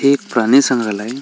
हे एक प्राणी संग्रालय --